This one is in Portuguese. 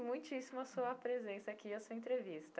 Muitíssimo a sua presença aqui, a sua entrevista.